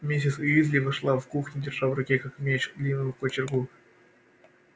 миссис уизли вошла в кухню держа в руке как меч длинную кочергу